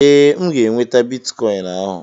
Ee, M ga-enweta bitikọin ahụ.